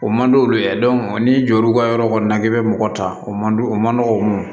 O man d'olu ye n'i jɔ l'u ka yɔrɔ kɔni na k'i bɛ mɔgɔ ta o man o man dɔgɔn